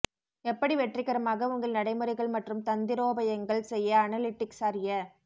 எப்படி வெற்றிகரமாக உங்கள் நடைமுறைகள் மற்றும் தந்திரோபாயங்கள் செய்ய அனலிட்டிக்ஸ் அறிய